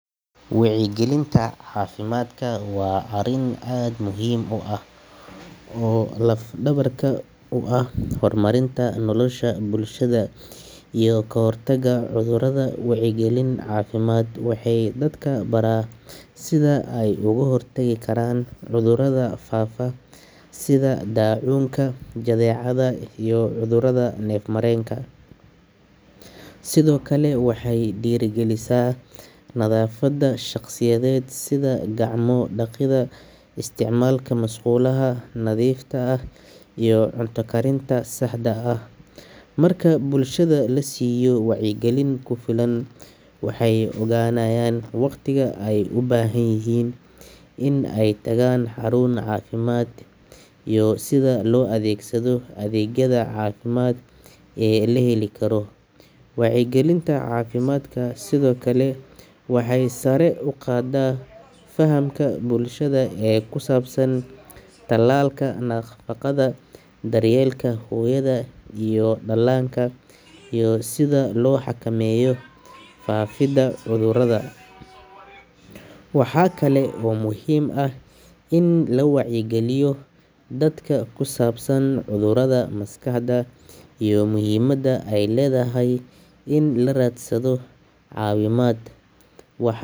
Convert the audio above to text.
Wacyigelinta caafimaadka waa arrin aad muhiim u ah oo laf-dhabar u ah horumarinta nolosha bulshada iyo ka hortagga cudurrada. Wacyigelin caafimaad waxay dadka baraa sida ay uga hortagi karaan cudurrada faafa, sida daacuunka, jadeecada iyo cudurrada neef-mareenka. Sidoo kale waxay dhiirrigelisaa nadaafadda shakhsiyeed, sida gacmo dhaqidda, isticmaalka musqulaha nadiifta ah iyo cunto karinta saxda ah. Marka bulshada la siiyo wacyigelin ku filan, waxay ogaanayaan waqtiga ay u baahan yihiin inay tagaan xarun caafimaad iyo sida loo adeegsado adeegyada caafimaad ee la heli karo. Wacyigelinta caafimaadka sidoo kale waxay sare u qaaddaa fahamka bulshada ee ku saabsan talaalka, nafaqada, daryeelka hooyada iyo dhallaanka, iyo sida loo xakameeyo faafidda cudurrada. Waxa kale oo muhiim ah in la wacyigeliyo dadka ku saabsan cudurrada maskaxda iyo muhiimadda ay leedahay in la raadsado caawimaad. Waxa.